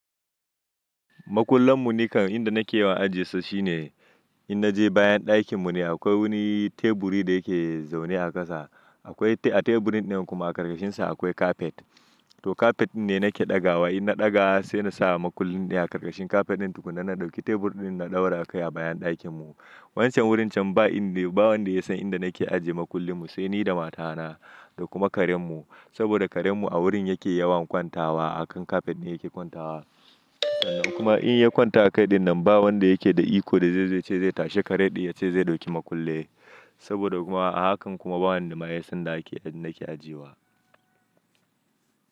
Makullan mu nikan inda nake yiwa aji sa shine in naje bayan dakin mu ne akwai wani teburi da yake zaune a ƙasa. Akwai a teburin din kuma a ƙarƙashin sa akwai kafet. To kafet din ne nake ɗaga wai in na ɗaga sai na sa makullin ne a ƙarƙashin kafet din tukuna na dauki tebur din na ɗaura akai a bayan dakin mu. Wancan wurin can ba wanda yasan inda nake ajiye makullin mu sai ni da mata na da kuma karen mu. Saboda karen mu a wurin yake yawan kwantawa. A kan kafet ne yake kwantawa. Kuma in ya kwanta a kai din nan ba wanda yake da iko da zai ce zai tashi karen ya ce zai dauki makulli. Saboda kuma a hakan kuma ba wanda ma yasan da nake ajiye wa.